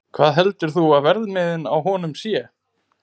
Hvað heldurðu að verðmiðinn á honum sé?